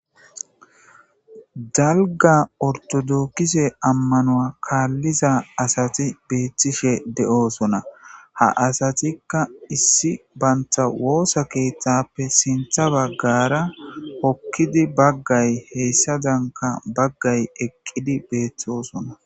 Dalga ortodokise ammanoa kaalliza asati beettishe de'oosona ha asatikka issi banta woosa keeththappe sintha baggara hokkidi baggay heyssadanka baggay eqqidi beethtosona.